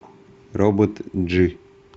робот джи